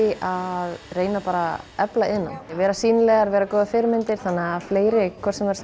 að reyna að efla iðnnám vera sýnilegar vera góðar fyrirmyndir þannig að fleiri hvort sem það